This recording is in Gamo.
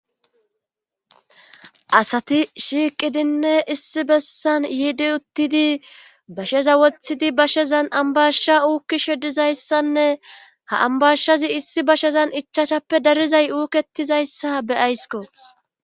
Asati shiiqidinne issi bessan yiidi uttidi basheza wothidi bashezan ambashsha uukki shedizayssanne ha ambashshazi issi bashezan ichachappe darizay uuketizayssa beyaysko.